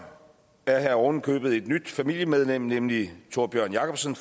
er der oven i købet et nyt familiemedlem nemlig tórbjørn jacobsen